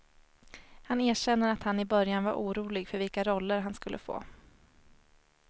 Han erkänner att han i början var orolig för vilka roller han skulle få.